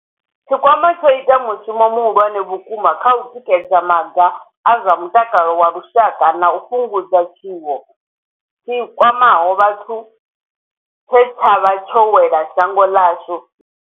Tshikwama tsho ita mushumo muhulwane vhukuma kha u tikedza maga a zwa mutakalo wa lushaka na u fhungudza tshiwo tshi kwamaho vhathu tshe tsha vha tsho wela shango ḽashu na vhathu vhashu.